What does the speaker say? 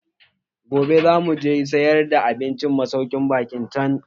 Gobe zamu je gidan sayar da abincin masaukin baƙin can.